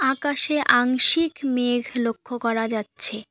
আকাশে আংশিক মেঘ লক্ষ করা যাচ্ছে।